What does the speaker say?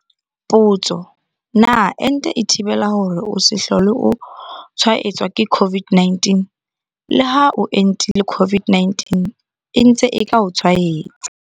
Potso- Na ente e thibela hore o se hlole o tshwaetswa ke COVID-19? Leha o entile COVID-19 e ntse e ka o tshwaetsa.